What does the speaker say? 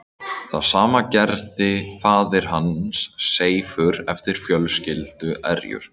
Það sama gerði faðir hans Seifur eftir fjölskylduerjur.